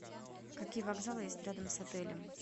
какие вокзалы есть рядом с отелем